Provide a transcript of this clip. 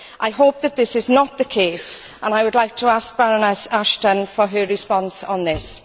I hope that this is not the case and I would like to ask Baroness Ashton for her response on this.